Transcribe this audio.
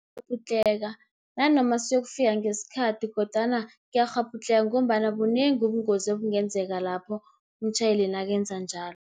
Ngiyakghabhudlheka nanoma siyokufika ngesikhathi, kodwana ngiyakghabhudlheka, ngombana bunengi ubungozi obungenzeka, lapho umtjhayeli nakenza njalo.